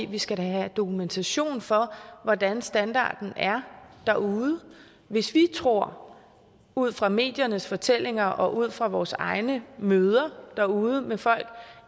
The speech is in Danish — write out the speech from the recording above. vi skal da have dokumentation for hvordan standarden er derude hvis vi tror ud fra mediernes fortællinger og ud fra vores egne møder derude med folk